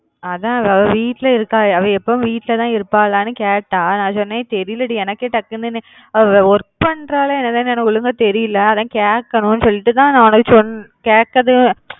அதா அவ வீட்ல இருக்கா அவ எப்பவும் வீட்லதா இருபாலான்னு கேட்ட நா சொன்ன தெரில டி டக்குனு